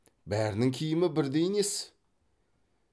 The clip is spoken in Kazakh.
бәрінің киімі бірдей несі